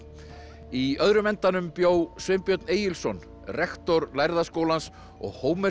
í öðrum endanum bjó Sveinbjörn Egilsson rektor lærða skólans og